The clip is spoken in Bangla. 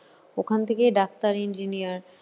ওখান থেকেই ডাক্তার engineer